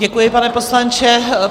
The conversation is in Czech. Děkuji, pane poslanče.